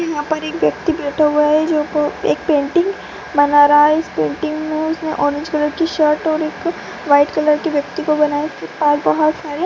यहां पर एक व्यक्ति बैठा हुआ है जो एक पेंटिंग बना रहा है जो एक पेंटिंग बना रहा हैं इस पेंटिंग में उसने ऑरेंज कलर की शर्ट और व्हाइट कलर की व्यक्ति को बनाए और बहुत सारे --